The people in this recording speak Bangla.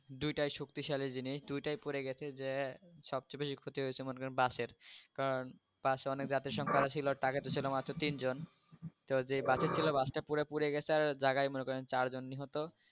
দুইটাই শক্তিশালী জিনিষ, দুইটাই পরে গেছে যে সবচেয়ে বেশি ক্ষতি হয়েছে মনে করেন বাসের। কারণ বাস এ অনেক যাত্রী সংখ্যা ছিল, ট্রাকে তো ছিল মাত্র তিনজন তো যে বাস এ ছিল বাসটা পুরাটা পুরে গেছে আর জায়গায় মনে করেন চারজন নিহত